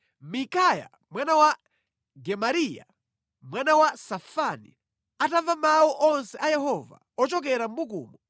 Mikaya mwana wa Gemariya, mwana wa Safani, atamva mawu onse a Yehova ochokera mʼbukumo,